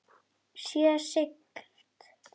Öll okkar samtöl um bækur.